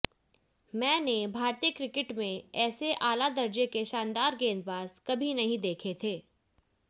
मैं ने भारतीय क्रिकेट में ऐसे आला दर्जे के शानदार गेंदबाज कभी नहीं देखे थे